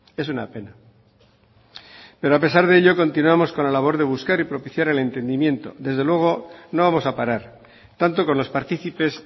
es una pena pero a pesar de ello continuamos con la labor de buscar y propiciar el entendimiento desde luego no vamos a parar tanto con los partícipes